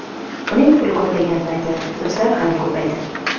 Uning puli ko‘p payti do‘stlari ham ko‘paydi.